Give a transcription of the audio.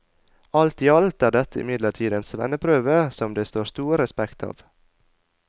Alt i alt er dette imidlertid en svenneprøve som det står stor respekt av.